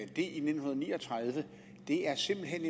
det i nitten ni og tredive simpelt hen